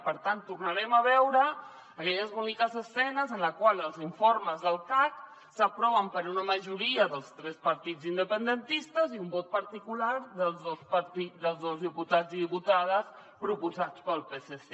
per tant tornarem a veure aquelles boniques escenes en les quals els informes del cac s’aproven per una majoria dels tres partits independentistes i un vot particular dels dos diputats i diputades proposats pel psc